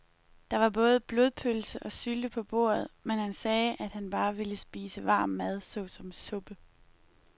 Der var både blodpølse og sylte på bordet, men han sagde, at han bare ville spise varm mad såsom suppe.